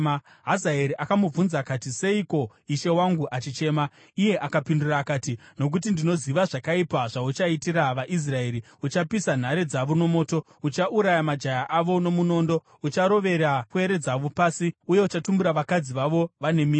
Hazaeri akamubvunza akati, “Seiko ishe wangu achichema?” Iye akapindura akati, “Nokuti ndinoziva zvakaipa zvauchaitira vaIsraeri. Uchapisa nhare dzavo nomoto, uchauraya majaya avo nomunondo, ucharovera pwere dzavo pasi, uye uchatumbura vakadzi vavo vane mimba.”